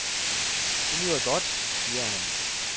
Det lyder godt, siger han.